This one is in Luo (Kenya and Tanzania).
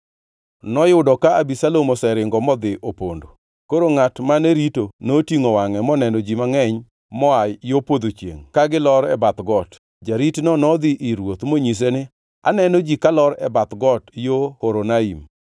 Noyudo ka Abisalom oseringo modhi opondo. Koro ngʼat mane rito notingʼo wangʼe moneno ji mangʼeny moa yo podho chiengʼ ka gilor e bath got. Jaritno nodhi ir ruoth monyise ni, Aneno ji kalor e bath got, yo Horonaim.